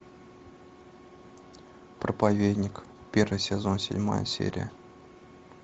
проповедник первый сезон седьмая серия